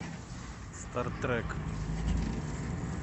стартрек